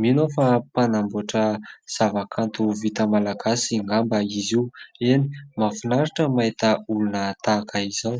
Mino aho fa mpanamboatra zavakanto vita malagasy angamba izy io. Eny ! mahafinaritra mahita olona tahaka izao.